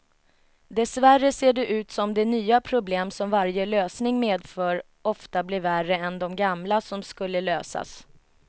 Dessvärre ser det ut som de nya problem som varje lösning medför ofta blir värre än de gamla som skulle lösas.